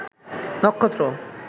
নক্ষত্র